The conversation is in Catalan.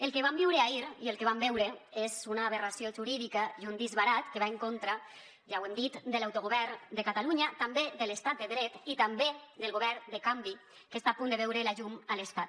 el que vam viure ahir i el que vam veure és una aberració jurídica i un disbarat que va en contra ja ho hem dit de l’autogovern de catalunya també de l’estat de dret i també del govern de canvi que està a punt de veure la llum a l’estat